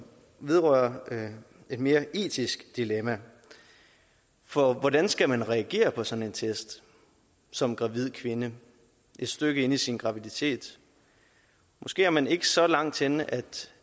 vedrører et mere etisk dilemma for hvordan skal man reagere på sådan en test som gravid kvinde et stykke inde i sin graviditet måske er man ikke så langt henne